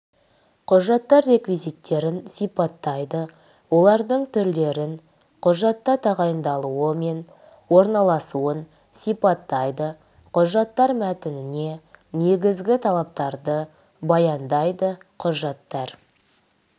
құжаттар реквизиттерін сипаттайды олардың түрлерін құжатта тағайындалуы мен орналасуын сипаттайды құжаттар мәтініне негізгі талаптарды баяндайды құжаттар